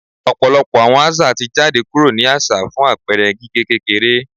Ọpọlọpọ awọn aza ti jade kuro ni aṣa fun apẹẹrẹ gige kekere